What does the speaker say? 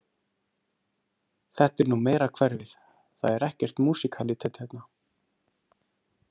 Þetta er nú meira hverfið, það er ekkert músíkalítet hérna.